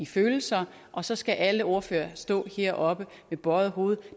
følelser og så skal alle ordførerne stå heroppe med bøjet hoved